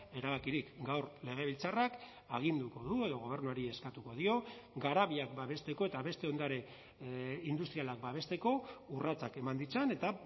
erabakirik gaur legebiltzarrak aginduko du edo gobernuari eskatuko dio garabiak babesteko eta beste ondare industrialak babesteko urratsak eman ditzan eta